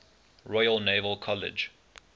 royal naval college